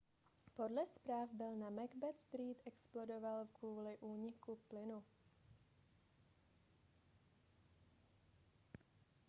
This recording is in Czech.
podle zpráv byt na macbeth street explodoval kvůli úniku plynu